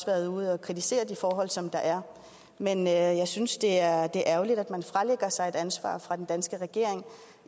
været ude og kritisere de forhold som der er men jeg synes det er ærgerligt at man fralægger sig ansvaret fra den danske regerings